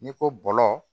N'i ko bɔlɔ